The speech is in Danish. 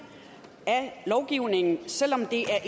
af lovgivningen selvom det er